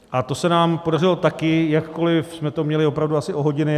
A to se nám podařilo taky, jakkoliv jsme to měli opravdu asi o hodiny.